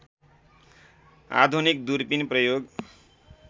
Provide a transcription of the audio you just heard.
आधुनिक दूरबिन प्रयोग